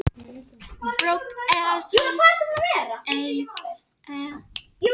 Sá síðastnefndi myndar risastór látur og er algengur við lagnaðarísinn og á fastalandinu.